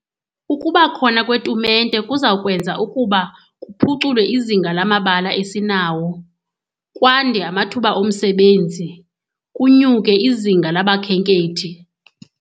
Ukuba khona kweetumente kuza kwenza ukuba kuphuculwe izinga lamabala esinawo, kwande amathuba omsebenzi, kunyuke izinga labakhenkethi.